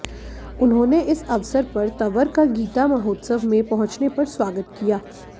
उन्होंने इस अवसर पर तंवर का गीता महोत्सव में पहुंचने पर स्वागत किया